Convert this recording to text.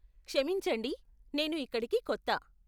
క్షమించండి, నేను ఇక్కడికి కొత్త.